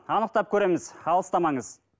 анықтап көреміз алыстамаңыз